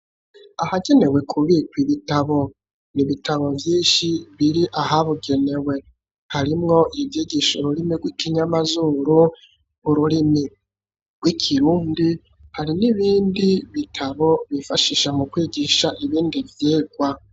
Ahagenewe kubika ibitabo n'ibitabo vyinshi biri ahabugenewe harimwo ivyigisha ururimi rw'ikinyamazuru ururimi rw'ikirundi hari n'ibindi bitabo bifashisha mu kwigisha ibindi vyigwa.